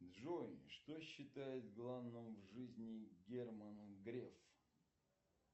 джой что считает главным в жизни герман греф